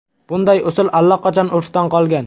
Bunday usul allaqachon urfdan qolgan.